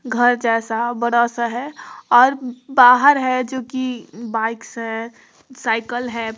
घर जैसा बड़ा सा है और बाहर है जो कि बाइक्स है साइकिल है।